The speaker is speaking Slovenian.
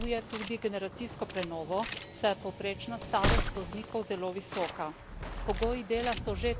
Prometni sektor potrebuje tudi generacijsko prenovo, saj je povprečna starost voznikov zelo visoka.